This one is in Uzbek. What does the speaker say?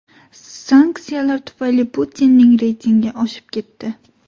Sanksiyalar tufayli Putinning reytingi oshib ketdi.